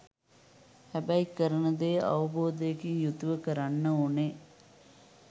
හැබැයි කරන දේ අවබෝධයකින් යුතුව කරන්න ඕනේ.